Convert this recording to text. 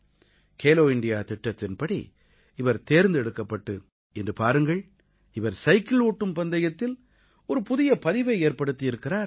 Khelo India திட்டத்தின்படி இவர் தேர்ந்தெடுக்கப்பட்டு இன்று பாருங்கள் இவர் சைக்கிள் ஓட்டும் பந்தயத்தில் ஒரு புதிய பதிவை ஏற்படுத்தி இருக்கிறார்